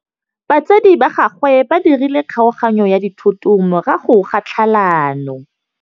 Batsadi ba gagwe ba dirile kgaoganyô ya dithoto morago ga tlhalanô.